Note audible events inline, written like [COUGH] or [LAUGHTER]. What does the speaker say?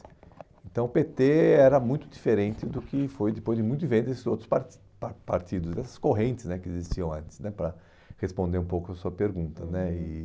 Então, o pê tê era muito diferente do que foi depois de [UNINTELLIGIBLE] desses outros par par partidos, dessas correntes né que existiam antes né, para responder um pouco a sua pergunta né. Uhum. E